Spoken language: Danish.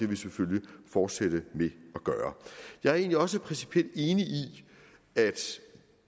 vi selvfølgelig fortsætte med at gøre jeg er egentlig også principielt enig i at